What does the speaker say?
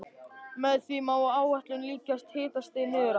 Með því má áætla líklegt hitastig niður á